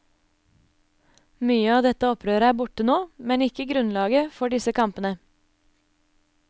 Mye av dette opprøret er borte nå, men ikke grunnlaget for disse kampene.